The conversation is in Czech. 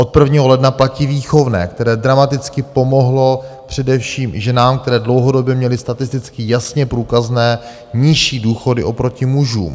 Od 1. ledna platí výchovné, které dramaticky pomohlo především ženám, které dlouhodobě měly statisticky jasně průkazné nižší důchody oproti mužům.